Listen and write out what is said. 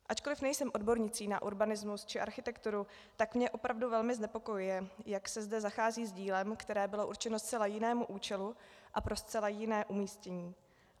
Ačkoliv nejsem odbornicí na urbanismus či architekturu, tak mě opravdu velmi znepokojuje, jak se zda zachází s dílem, které bylo určeno zcela jinému účelu a pro zcela jiné umístění.